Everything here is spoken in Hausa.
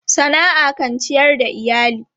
Sana'a kan ciyar da iyali.